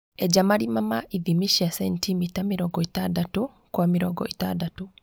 Enja marima ma ithimi cia centimita mĩrongo ĩtandatũ Kwa mĩrongo ĩtandatũ